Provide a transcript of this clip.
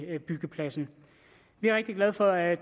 byggepladsen vi er rigtig glade for at